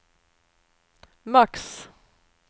max